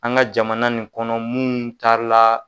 An ga jamana nin kɔnɔ munnu taa la